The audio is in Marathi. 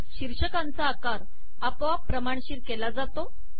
शीर्षकांचा आकार आपोआप प्रमाणशीर केला जातो